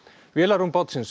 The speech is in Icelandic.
vélarrúm bátsins